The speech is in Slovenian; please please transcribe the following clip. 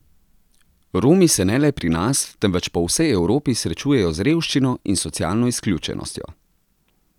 Romi se ne le pri nas, temveč po vsej Evropi srečujejo z revščino in socialno izključenostjo.